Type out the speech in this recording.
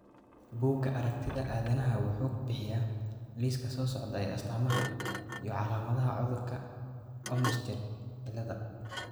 Bugaa aragtida aDdanaha wuxuu bixiyaa liiska soo socda ee astamaha iyo calaamadaha cudurka Olmsted ciladha.